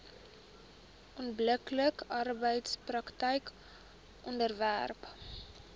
onbillike arbeidspraktyke onderwerp